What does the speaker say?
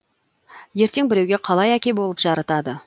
ертең біреуге қалай әке болып жарытады